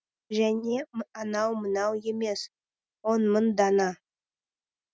және анау мынау емес он мың дана